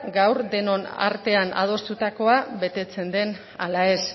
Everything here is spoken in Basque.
gaur denon artean adostutakoa betetzen den ala ez